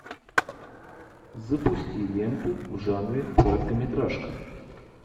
запусти ленту в жанре короткометражка